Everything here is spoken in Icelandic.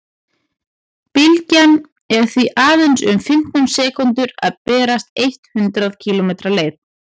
bylgjan er því aðeins um fimmtán sekúndur að berast eitt hundruð kílómetri leið